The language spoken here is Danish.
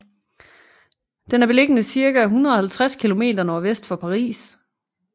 Den er beliggende cirka 150 km nordvest for Paris